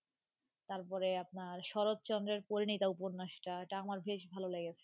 তারপরে আপনার শরৎচন্দ্রের পরিণীতা উপন্যাসটা এটা আমার বেশ ভালো লেগেছে.